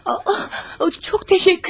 Oo çox təşəkkür edirəm.